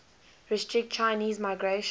restrict chinese migration